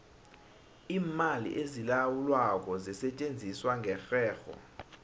iimali ezilawulwako zisetjenziswa ngerherho